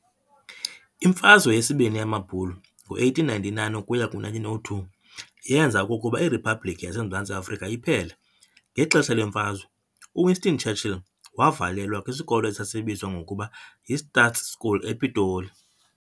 Imfazwe yesiBini yamaBhulu, ngo-1899 ukuya ku-1902 yeenza okokuba iRhiphabhlikhi yaseMzantsi Afrika iphele. Ngexesha lemfazwe, uWinston Churchill waavalelwa kwisikolo esasibizwa ngokuba yiStaats School ePitoli.